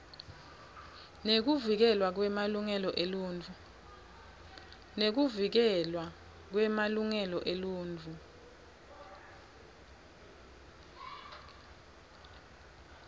nekuvikelwa kwemalungelo eluntfu